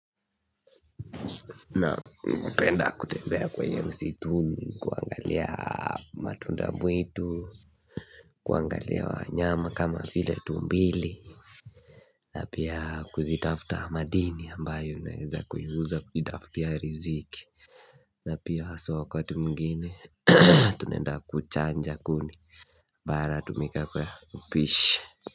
Na mpenda kutembea kwenye msituni, kuangalia matunda mwitu, kuangalia wanyama kama file tumbili na pia kuzitafuta madini ambayo na eza kuiuza kujitafutia riziki na pia aso wakati mngine tunaenda kuchanja kuni, bara tumika kwa upishi.